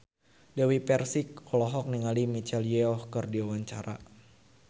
Dewi Persik olohok ningali Michelle Yeoh keur diwawancara